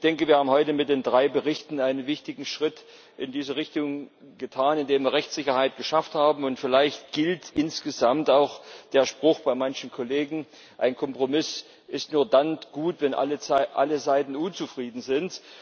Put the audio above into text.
Ich denke, wir haben heute mit den drei Berichten einen wichtigen Schritt in diese Richtung getan, indem wir Rechtssicherheit geschaffen haben. Vielleicht gilt insgesamt auch der Spruch bei manchen Kollegen Ein Kompromiss ist nur dann gut, wenn alle Seiten unzufrieden sind.